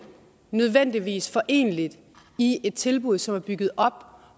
nødvendigvis foreneligt i et tilbud som er bygget op